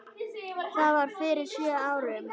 Það var fyrir sjö árum.